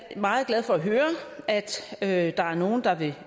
meget glad for at høre at der er nogle der vil